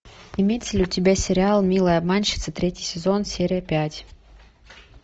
имеется ли у тебя сериал милые обманщицы третий сезон серия пять